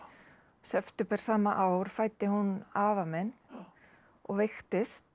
september sama ár fæddi hún afa minn og veiktist